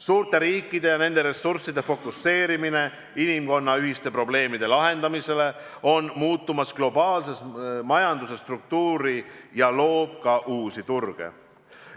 Suurte riikide ja nende ressursside fookustamine inimkonna ühiste probleemide lahendamisele muudab globaalse majanduse struktuuri ja loob ka uusi turge.